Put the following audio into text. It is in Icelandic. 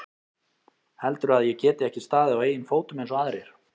Heldurðu að ég geti ekki staðið á eigin fótum eins og aðrir?